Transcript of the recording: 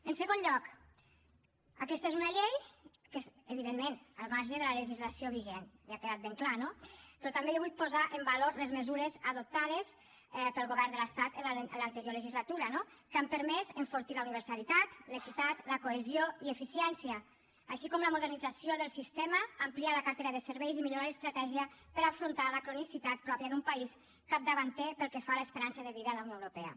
en segon lloc aquesta és una llei que és evidentment al marge de la legislació vigent ja ha quedat ben clar no però també jo vull posar en valor les mesures adoptades pel govern de l’estat en l’anterior legislatura que han permès enfortir la universalitat l’equitat la cohesió i l’eficiència així com la modernització del sistema ampliar la cartera de serveis i millorar l’estratègia per afrontar la cronicitat pròpia d’un país capdavanter pel que fa a l’esperança de vida en la unió europea